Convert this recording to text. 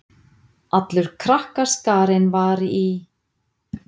Allur krakkaskarinn var í